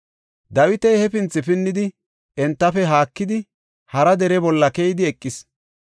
Dawiti hefinthi pinnidi, entafe haakidi hara dere bolla keyidi eqis.